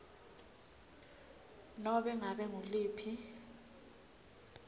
nobe ngabe nguluphi